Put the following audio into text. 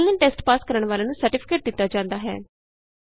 online test pass ਕਰਨ ਵਾਲਿਆਂ ਨੂੰ ਸਰਟੀਫਿਕੇਟ ਦਿਤਾ ਜਾਂਦਾ ਹੈ